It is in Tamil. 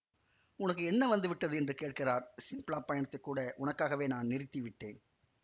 உனக்கு என்ன வந்து விட்டது என்று கேட்கிறார் சிம்லாப் பயணத்தைக் கூட உனக்காகவே நான் நிறுத்தி விட்டேன்